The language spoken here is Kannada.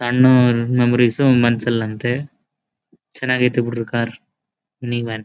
ಸಣ್ಣ ಮೆಮೊರಿಸ್ ಮನಸಲ್ ಅಂತೇ ಚನಾಗಿದೆ ಬಿಡ್ರಿ ಕಾರ್ ನೀವೇನ್ --